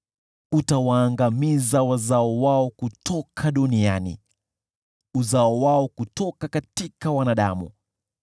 Utawaangamiza wazao wao kutoka duniani, uzao wao kutoka wanadamu.